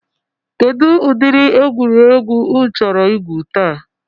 Kedụ ụdịrị egwuregwu ụnụ chọrọ igwu taa?